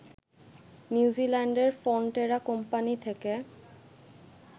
নিউজিল্যান্ডের Fonterra company থেকে